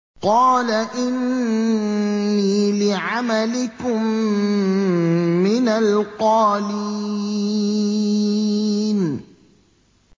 قَالَ إِنِّي لِعَمَلِكُم مِّنَ الْقَالِينَ